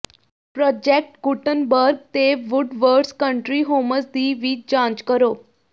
project Gutenberg ਤੇ Woodwards Country Homes ਦੀ ਵੀ ਜਾਂਚ ਕਰੋ